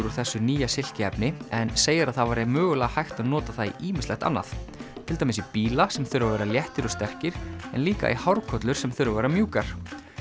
úr þessu nýja en segir að það væri mögulega hægt að nota það í ýmislegt annað til dæmis í bíla sem þurfa að vera léttir og sterkir en líka í hárkollur sem þurfa að vera mjúkar